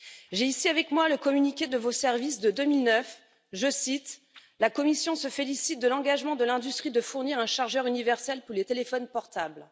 J'ai ici avec moi le communiqué de vos services de 2009 la Commission se félicite de l'engagement de l'industrie de fournir un chargeur universel pour les téléphones portables.